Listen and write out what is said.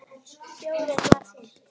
Fjórir var fínt.